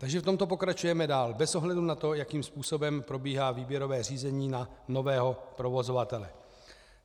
Takže v tomto pokračujeme dál bez ohledu na to, jakým způsobem probíhá výběrové řízení na nového provozovatele.